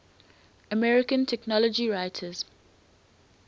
american technology writers